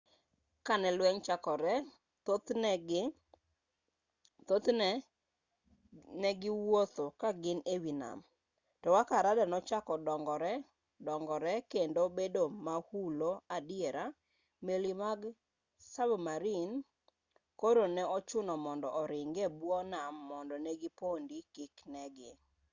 ka ne lweny chakore thothne ne giwuotho ka gin ewi nam to kaka rada nochako dongore kendo bedo mahulo adiera meli mag sabmarin koro ne ochun mondo oringi e bwo nam mondo ne gipondi kik nen gi